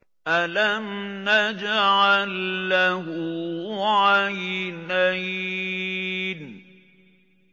أَلَمْ نَجْعَل لَّهُ عَيْنَيْنِ